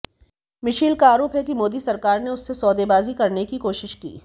Michel का आरोप है कि मोदी सरकार ने उससे सौदेबाजी करने की कोशिश की